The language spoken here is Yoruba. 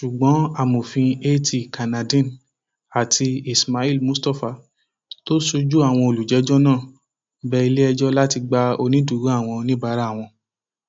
ṣùgbọn amòfin at kannadeen àti ismail mustapha tó sojú àwọn olùjẹjọ náà bẹ iléẹjọ láti gba onídùúró àwọn oníbàárà wọn